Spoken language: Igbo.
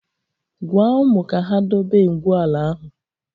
Gwaa ụmụ ka ha dobe ngwu ala ahụ!